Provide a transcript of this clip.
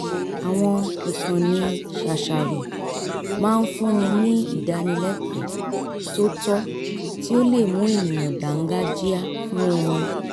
àwọn ìkànnì ṣàṣàrò máa ń fún ni ní ìdánilẹ́kọ̀ọ́ tó tọ́ tí ó lè mú ènìyàn dáńgájíá fún oorun